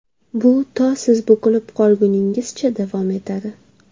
Bu to siz bukilib qolguningizcha davom etadi.